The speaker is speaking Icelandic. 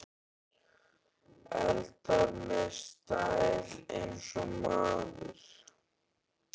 Eldar með stæl- eins og maður!